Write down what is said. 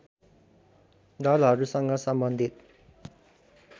दलहरूसँग सम्बन्धित